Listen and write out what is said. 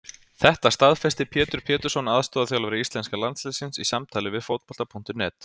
Þetta staðfesti Pétur Pétursson aðstoðarþjálfari íslenska landsliðsins í samtali við Fótbolta.net